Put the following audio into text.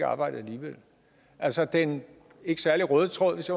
arbejde alligevel altså den ikke særlig røde tråd hvis